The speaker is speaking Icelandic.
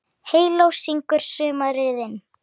Heyló syngur sumarið inn